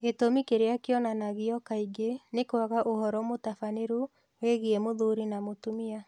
Gĩtũmi kĩrĩa kĩonanagio kaingĩ nĩ kwaga ũhoro mũtabanĩru wĩgiĩ mũthuri na mũtumia.